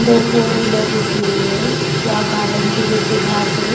दो four wheeler रुकी हुई है या गार्डन की जैसी घास है।